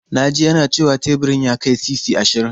Na ji yana cewa teburin ya kai sisi ashirin.